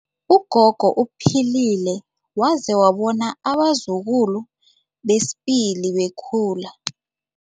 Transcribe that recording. Ugogo uphilile waze wabona abazukulu besibili bekhula.